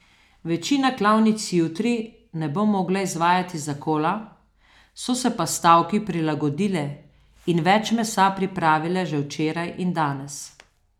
Večina klavnic jutri ne bo mogla izvajati zakola, so se pa stavki prilagodile in več mesa pripravile že včeraj in danes.